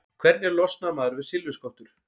Hvernig losnar maður við silfurskottur?